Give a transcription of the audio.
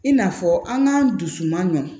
I n'a fɔ an k'an dusu man nɔgɔn